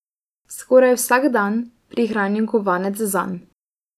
Skoraj vsak dan prihranim kovanec zanj.